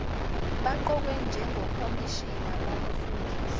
baqokwe njengokhomishina bokufungisa